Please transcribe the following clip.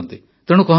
ତେଣୁ କୁହନ୍ତୁ